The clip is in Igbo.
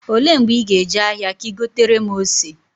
Olee mgbe ị ga- eje ahịa ka ị gotere m ose?